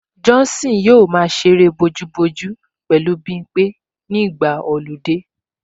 Johnson yóò máa ṣe eré bojúbojú pẹ̀lú Bimpé nígbà ọludé